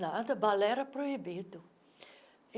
Nada, balé era proibido.